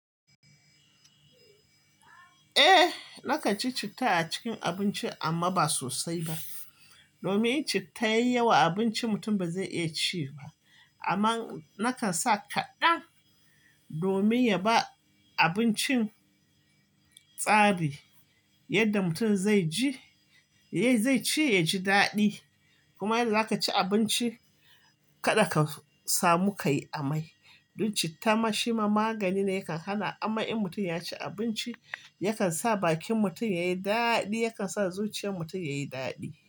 Eh nakan ci citta a cikin abinci amma ba sosai ba. Domin in citta yayi yawa a abinci mutum ba zai iya ci ba. Amma nakan sa kaɗan domin ya ba abincin tsari yadda mutum zai ci ya ji daɗi. Kuma yadda zaka ci abinci kada ka samu ka yi amai. Don citta ma shi magani ne ya kan hana ama'i. Mutum ya ci abinci ya kan sa bakin mutum ya yi daɗi, ya kan sa zuciyar mutum ya yi daɗi.